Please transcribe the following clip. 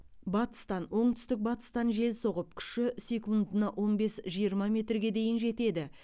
батыстан оңтүстік батыстан жел соғып күші секундына он бес жиырма метрге дейін жетеді